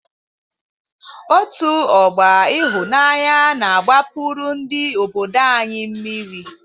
Òtù ọgbọ Ịhụnanya na-agbapuru ndị obodo anyị mmiri.